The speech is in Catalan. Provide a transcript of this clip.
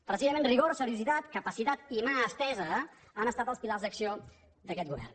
precisament rigor seriositat capacitat i mà estesa han estat els pilars d’acció d’aquest govern